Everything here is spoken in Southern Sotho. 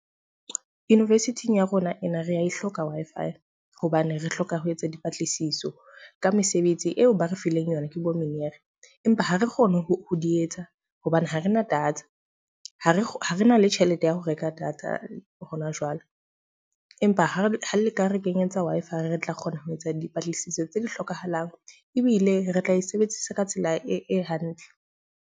University-ing ya rona ena re a e hloka Wi-Fi. Hobane re hloka ho etsa dipatlisiso ka mesebetsi eo ba re fileng yona ke bo mener. Empa ha re kgone ho di etsa hobane ha rena data, ha re ha re na le tjhelete ya ho reka data ho na jwale. Empa ha re ha le ka re kenyetsa Wi-Fi, re re tla kgona ho etsa dipatlisiso tse di hlokahalang ebile re tla e sebedisa ka tsela e hantle.